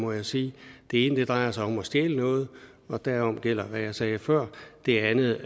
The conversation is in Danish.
må jeg sige det ene drejer sig om at stjæle noget og derom gælder hvad jeg sagde før det andet